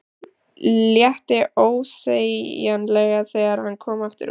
Létti ósegjanlega þegar hann kom aftur út.